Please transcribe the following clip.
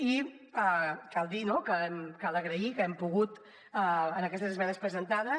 i cal dir no que cal agrair que hem pogut en aquestes esmenes presentades